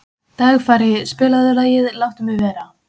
Dagfari, spilaðu lagið „Láttu mig vera“.